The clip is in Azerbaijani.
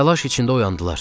Təlaş içində oyandılar.